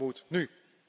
Dat moet nu.